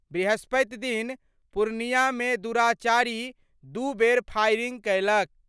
बृहस्पतिदिन पूर्णियामे दुराचारी दू बेर फायरिंग कयलक।